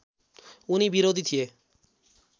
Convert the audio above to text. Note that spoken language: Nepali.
उनी विरोधी थिए